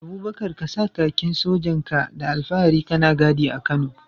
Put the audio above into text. Abubakar ka sa kakin sojan ka da alfahari kana gadi a Kano.